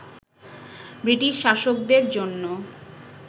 British শাসকদের জন্য